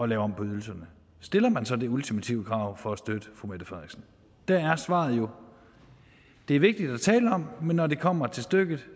lave om på ydelserne stiller man som et ultimativt krav for at støtte fru mette frederiksen og der er svaret jo det er vigtigt at tale om men når det kommer til stykket